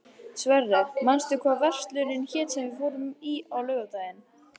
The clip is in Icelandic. Sverre, manstu hvað verslunin hét sem við fórum í á laugardaginn?